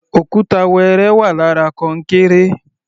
Òkúta wẹrẹ wà lára kọnkéré.